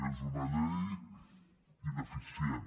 és una llei ineficient